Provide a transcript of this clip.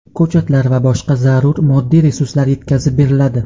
ko‘chatlar va boshqa zarur moddiy resurslar yetkazib beriladi.